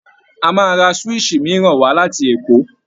A máa ra swíìṣì mìíràn wá láti Èkó